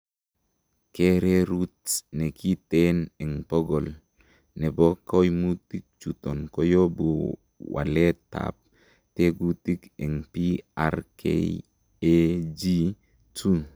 Kererut nekiten en pokol nebo koimutichuton koyobu waletab tekutik en PRKAG2.